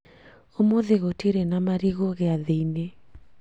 ũmũthĩ gutiri na marĩgũ giathĩ-ĩnĩ